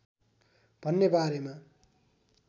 भन्ने बारेमा